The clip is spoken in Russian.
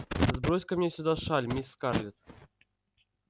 сбрось-ка мне сюда шаль мисс скарлетт